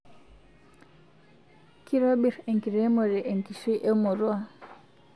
Kitobir enkiremore enkishui emurua